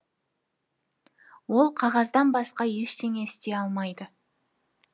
ол қағаздан басқа ештеңе істей алмайды